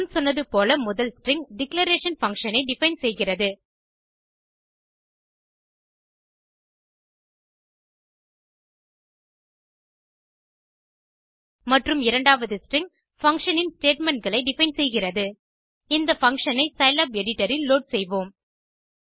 முன் சொன்னது போல முதல் ஸ்ட்ரிங் டிக்ளரேஷன் பங்ஷன் ஐ டிஃபைன் செய்கிறது மற்றும் இரண்டாம் ஸ்ட்ரிங் பங்ஷன் இன் statementகளை டிஃபைன் செய்கிறது இந்த பங்ஷன் ஐ சிலாப் எடிட்டர் இல் லோட் செய்வோம்